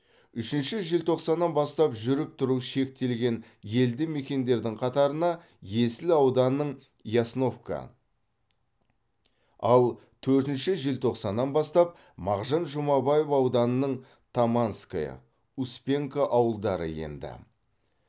үшінші желтоқсаннан бастап жүріп тұру шектелген елді мекендердің қатарына есіл ауданының ясновка ал төртінші желтоқсаннан бастап мағжан жұмабаев ауданының таманское успенка ауылдары енді